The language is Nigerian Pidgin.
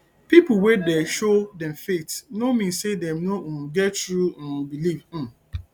pipo wey dey show dem faith no mean say dem no um get true um belief um